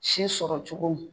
Si sɔrɔ cogo min.